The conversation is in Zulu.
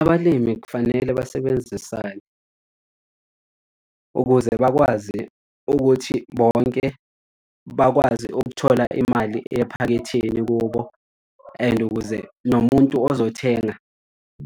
Abalimi kufanele basebenzisane ukuze bakwazi ukuthi bonke bakwazi ukuthola imali ephaketheni kubo and ukuze nomuntu ozowuthenga